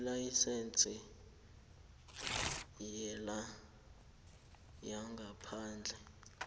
ilayisense yokutjhayela yangaphandle